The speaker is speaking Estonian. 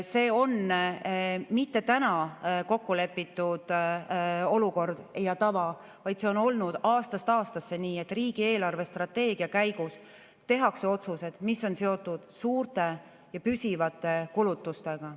See pole mitte täna kokku lepitud olukord ja tava, vaid see on olnud aastast aastasse nii, et riigi eelarvestrateegia käigus tehakse otsused, mis on seotud suurte ja püsivate kulutustega.